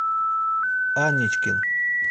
аничкин